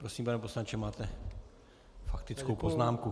Prosím, pane poslanče, máte faktickou poznámku.